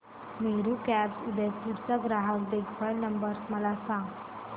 Meru cabs Udaipur चा ग्राहक देखभाल नंबर मला सांगा